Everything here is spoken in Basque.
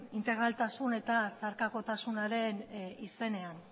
integraltasun eta zeharkakotasunaren izenean